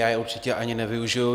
Já je určitě ani nevyužiji.